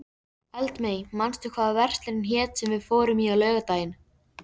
Eldmey, manstu hvað verslunin hét sem við fórum í á laugardaginn?